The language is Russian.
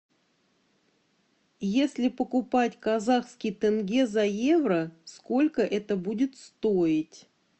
если покупать казахский тенге за евро сколько это будет стоить